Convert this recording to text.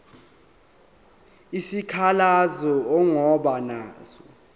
isikhalazo ongaba naso